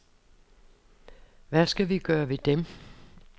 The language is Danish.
Hvad skal vi gøre ved dem?